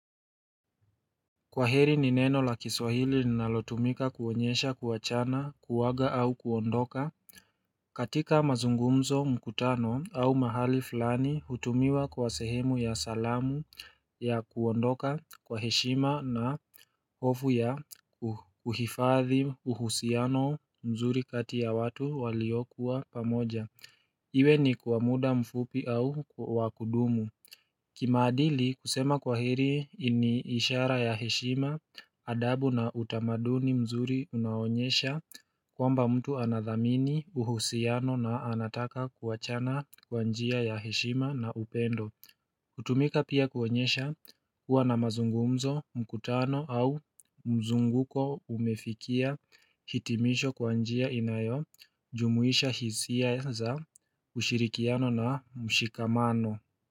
Kwa heri ni neno la kiswahili linalotumika kuonyesha kuachana kuwaga au kuondoka katika mazungumzo mkutano au mahali fulani hutumiwa kwa sehemu ya salamu ya kuondoka kwa heshima na hofu ya kuhifadhi uhusiano mzuri kati ya watu waliokuwa pamoja iwe ni kwa muda mfupi au wa kudumu kimaadili kusema kwa heri ni ishara ya heshima adabu na utamaduni mzuri unaonyesha kwamba mtu anathamini uhusiano na anataka kuachana kwa njia ya heshima na upendo hutumika pia kuonyesha kuwa namazungumzo mkutano au mzunguko umefikia hitimisho kwa njia inayojumuisha hisia za ushirikiano na ushikamano.